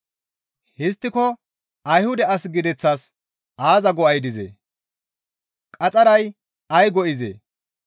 Histtiko Ayhuda as gideththas aaza go7ay dizee? Qaxxaray ay go7izee?